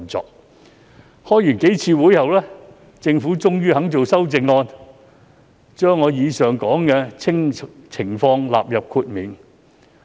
召開數次會議後，政府終於肯提出修正案，將上述情況納入豁免。